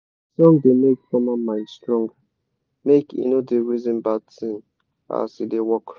de song da make farmer mind strong make he no da reason bad thing as he da work